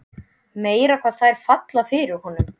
Meira hvað þær falla fyrir honum!